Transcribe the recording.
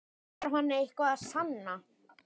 Þarf hann eitthvað að sanna?